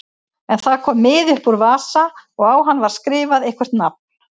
En það kom miði upp úr vasa og á hann var skrifað eitthvert nafn.